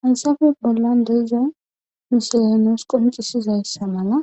Hansafe bollan deiza misolenes qoncisizayssa mala